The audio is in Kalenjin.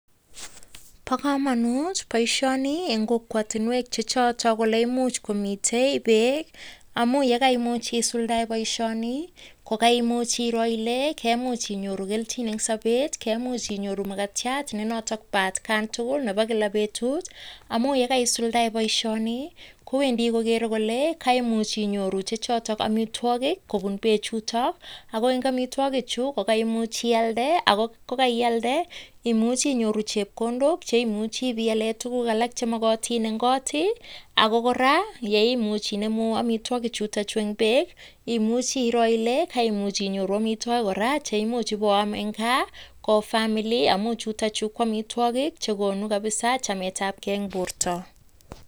Bo kamanut boisioni eng kokwatunwek che choto kole imuch komite beek, amu ye kaimuch isuldae boisioni ko kaimuch iro ile kemuch inyoru kelchin eng sobet, kemuch inyoru mkatiat ne notok pat kan tugul nebo kila betut. Amu ye kaisuldae boisioni, kowendi kogere kole kaimuch inyoru che chotok amitwogik kobun bechuto. Ago eng amitwogichu ko kaimuch ialde, ago ko kaialde imuchi inyoru chepkondok cheimuchi piale tuguk alak che mogotin eng kot, ago kora yeimuch inemu amitwogichutok eng beek, imuchi iro ile kaimuch inyoru amitwogik kora cheimuch iboam eng gaa ko family amu chuto chu ko amitwogik che konu kabisa chametabkei eng borto.